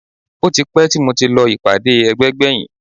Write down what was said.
Ó ti pẹ́ tí mo ti lọ ìpàdé ẹgbẹ́ gbẹ̀yìn